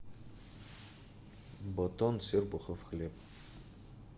батон серпухов хлеб